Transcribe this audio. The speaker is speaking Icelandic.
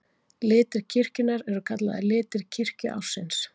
Litir kirkjunnar eru kallaðir litir kirkjuársins.